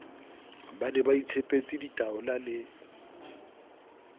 ba ne baitshepetse ditaola le